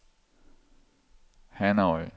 Hanoi